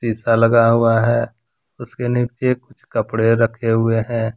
शीशा लगा हुआ है उसके नीचे कुछ कपड़े रखें हुए हैं।